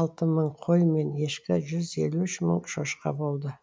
алты мың қой мен ешкі жүз елу үш мың шошқа болды